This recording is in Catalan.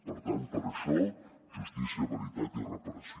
per tant per això justícia veritat i reparació